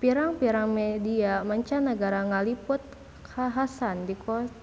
Pirang-pirang media mancanagara ngaliput kakhasan